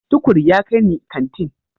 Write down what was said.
Tukur ya kai ni kantin.